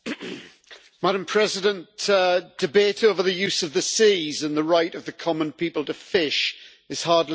Madam President, debate over the use of the seas and the right of the common people to fish is hardly new.